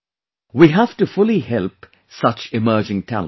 We have to fully help such emerging talents